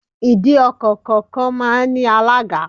Ìdí ọkọ̀ kọ̀ọ̀kan máa ń ní alága.